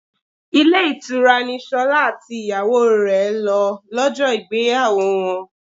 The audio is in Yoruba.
Ilé ìtura ni Ṣolá àti ìyàwó rẹ lọ lọ́jọ́ ìgbéyàwó wọn.